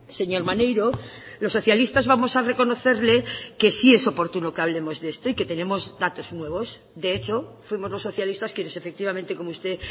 señor maneiro los socialistas vamos a reconocerle que sí es oportuno que hablemos de esto y que tenemos datos nuevos de hecho fuimos los socialistas quienes efectivamente como usted